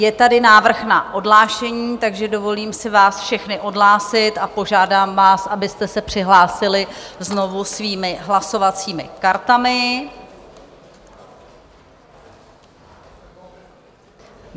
Je tady návrh na odhlášení, takže dovolím si vás všechny odhlásit a požádám vás, abyste se přihlásili znovu svými hlasovacími kartami.